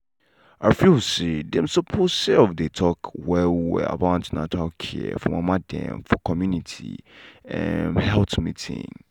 i feel say dem suppose um dey talk well well about an ten atal care for mama dem for community em health meeting.